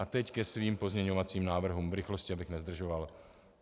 A teď ke svým pozměňovacím návrhům, v rychlosti, abych nezdržoval.